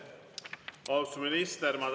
Austatud minister!